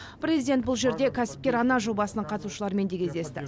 президент бұл жерде кәсіпкер ана жобасының қатысушыларымен де кездесті